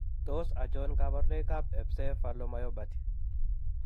Tos achon kabarunaik ab Ebcephalomyopathy